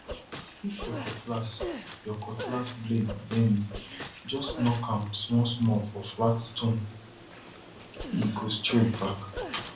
if your cutlass your cutlass blade bend just knock am smallsmall for flat stonee go straight back